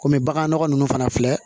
Kɔmi bagan nɔgɔ nunnu fana filɛ